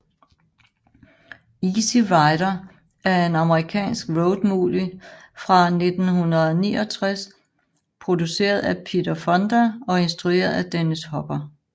Easy Rider er en amerikansk road movie fra 1969 produceret af Peter Fonda og instrueret af Dennis Hopper